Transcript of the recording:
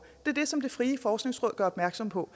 det er det som det frie forskningsråd gør opmærksom på